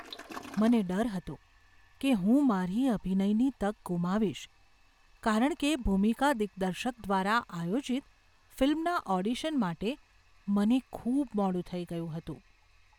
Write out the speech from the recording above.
મને ડર હતો કે હું મારી અભિનયની તક ગુમાવીશ કારણ કે ભૂમિકા દિગ્દર્શક દ્વારા આયોજિત ફિલ્મના ઓડિશન માટે મને ખૂબ મોડું થઈ ગયું હતું.